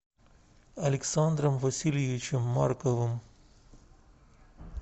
александром васильевичем марковым